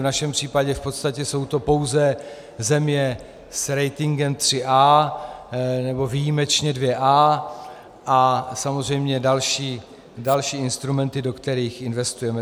V našem případě v podstatě jsou to pouze země s ratingem AAA, nebo výjimečně AA a samozřejmě další instrumenty, do kterých investujeme.